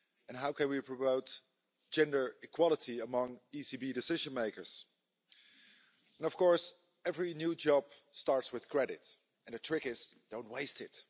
How can we promote gender equality among ECB decision makers? And of course, every new job starts with credit, and the trick is don't waste it.